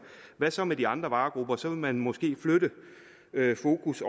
hvad så med de andre varegrupper så vil man måske flytte fokus